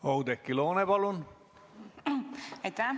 Oudekki Loone, palun!